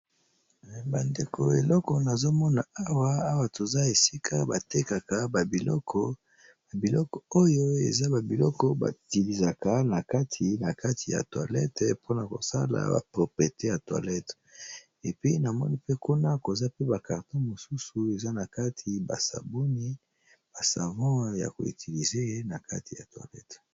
Bandeko eloko nazomona awa awa toza esika batekaka ba biloko ba biloko oyo eza ba biloko ba tilizaka na kati na kati ya toilette mpona kosala ba proprete ya toilette epi namoni pe kuna koza pe ba carton mosusu eza na kati ba sabuni ba savon yako utilize na kati ya toilette.